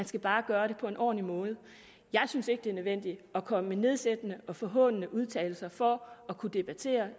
skal bare gøre det på en ordentlig måde jeg synes ikke det er nødvendigt at komme med nedsættende og forhånende udtalelser for at kunne debattere